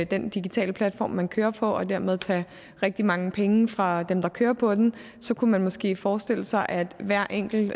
den digitale platform man kører på og dermed tage rigtig mange penge fra dem der kører på den så kunne man måske forestille sig at hver enkelt